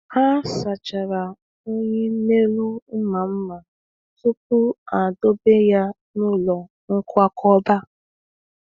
Ha sachara unyi n’elu mma mma tupu ha edobe ya n’ụlọ nkwakọba